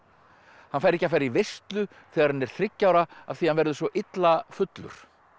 hann fær ekki að fara í veislu þegar hann er þriggja ára af því hann verður svo illa fullur